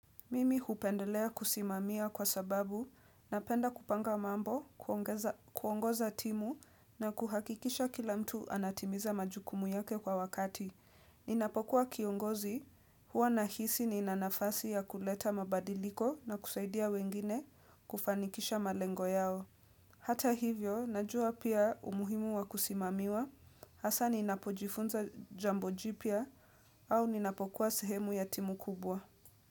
Mimi hupendelea kusimamia kwa sababu napenda kupanga mambo, kuongoza timu na kuhakikisha kila mtu anatimiza majukumu yake kwa wakati. Ninapokuwa kiongozi huwa nahisi nina nafasi ya kuleta mabadiliko na kusaidia wengine kufanikisha malengo yao. Hata hivyo, najua pia umuhimu wa kusimamiwa, hasa ninapojifunza jambo jipya au ninapokuwa sehemu ya timu kubwa.